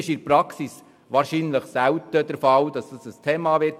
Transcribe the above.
Es ist in der Praxis wahrscheinlich selten der Fall, dass dies ein Thema sein wird.